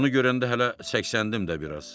Onu görəndə hələ səksəndim də biraz.